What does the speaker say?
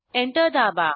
enter दाबा